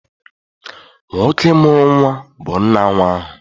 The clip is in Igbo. Nwoke mụrụ nnwa bu nna nnwa ahụ.